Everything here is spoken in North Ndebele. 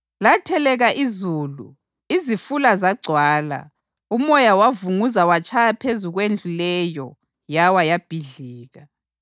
Latheleka izulu, izifula zagcwala, umoya wavunguza watshaya phezu kwendlu leyo yawa yabhidlika.”